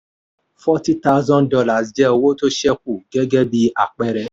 forty thousand dollars jẹ́ owó tó ṣẹ̀kù gẹ́gẹ́ bí àpẹẹrẹ.